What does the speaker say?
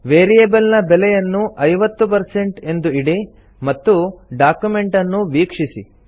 variable ನ ಬೆಲೆಯನ್ನು 50 ಎಂದು ಇಡಿ ಮತ್ತು ಡಾಕ್ಯುಮೆಂಟ್ ಅನ್ನು ವೀಕ್ಷಿಸಿ